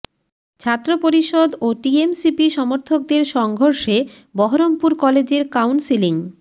ছাত্র পরিষদ ও টিএমসিপি সমর্থকদের সংঘর্ষে বহরমপুর কলেজের কাউন্সিলিং